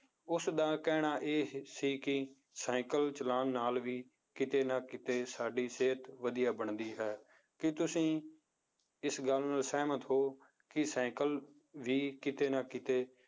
ਉਸਦਾ ਕਹਿਣਾ ਇਹ ਸੀ ਕਿ ਸਾਇਕਲ ਚਲਾਉਣ ਨਾਲ ਵੀ ਕਿਤੇ ਨਾ ਕਿਤੇ ਸਾਡੀ ਸਿਹਤ ਵਧੀਆ ਬਣਦੀ ਹੈ ਕੀ ਤੁਸੀਂ ਇਸ ਗੱਲ ਨਾਲ ਸਹਿਮਤ ਹੋ ਕਿ ਸਾਇਕਲ ਵੀ ਕਿਤੇ ਨਾ ਕਿਤੇ